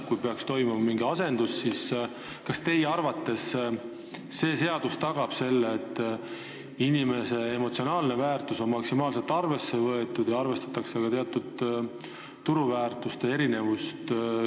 Kui peaks toimuma mingi asendus, kas siis teie arvates uus seadus tagab selle, et objekti emotsionaalne väärtus on maksimaalselt arvesse võetud ja arvestatakse ka turuväärtuste erinevust?